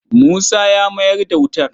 Musa ya mayar da wutar.